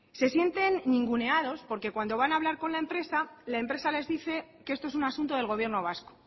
se sienten ninguneados porque cuando van hablar con la empresa la empresa les dice que esto es un asunto del gobierno vasco